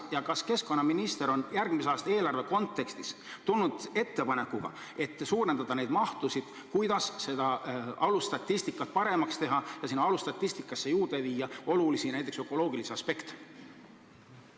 Ja kas keskkonnaminister on järgmise aasta eelarve kontekstis tulnud välja ettepanekuga, et neid mahtusid suurendada ning kuidas alusstatistikat paremaks teha ja viia sellesse juurde olulisi, näiteks ökoloogilisi aspekte?